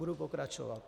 Budu pokračovat.